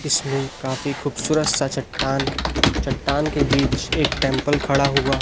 इसमें काफी खूबसूरत सा चट्टान चट्टान के बीच एक टेंपल खड़ा हुआ--